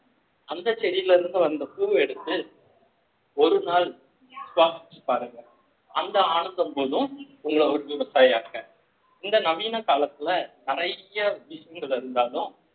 அந்தச் செடிகள இருந்து வந்த பூவ எடுத்து ஒரு நாள் சுவாசிச்சுப் பாருங்க அந்த ஆனந்தம் போதும் உங்கள ஒரு விவசாயம் ஆக்குக இந்த நவீன காலத்துல நிறைய machine கள் இருந்தாலும்